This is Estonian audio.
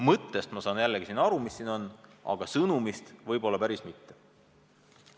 Mõttest saan ma aru, aga sõnumist võib-olla päriselt mitte.